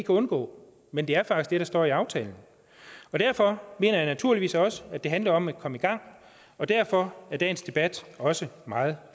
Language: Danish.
undgå men det er faktisk står i aftalen derfor mener jeg naturligvis også at det handler om at komme i gang og derfor er dagens debat også meget